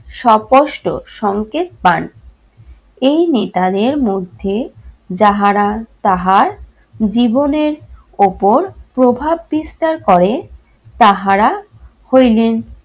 সপষ্ট সংকেত পান। এই নেতাদের মধ্যে যাহারা তাহার জীবনের ওপর প্রভাব বিস্তার করে তাহারা হইলেন